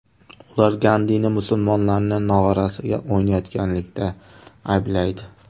Ular Gandini musulmonlarning nog‘orasiga o‘ynayotganlikda ayblaydi.